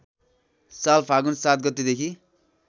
साल फागुन ७ गतेदेखि